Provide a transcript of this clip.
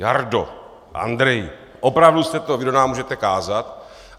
Jardo, Andreji, opravdu jste to vy, kdo nám můžete kázat?